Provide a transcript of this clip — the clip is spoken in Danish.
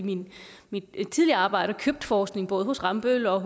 mit tidligere arbejde købt forskning både hos rambøll og